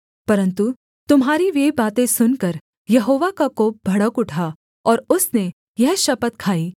परन्तु तुम्हारी वे बातें सुनकर यहोवा का कोप भड़क उठा और उसने यह शपथ खाई